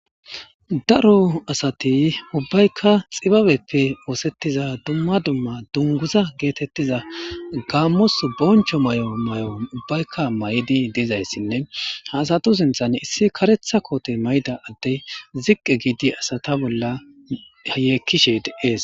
Daro asat ubbayka xibabeppe osetiya dumma dumma dunguza getetiya gamos boncho mayo ubbayka mayid dizaysine ha asatu sinthan issi karetha kote mayida adey ziq gid asat bolla yekishe Des .